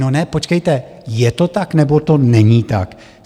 No ne, počkejte, je to tak, nebo to není tak?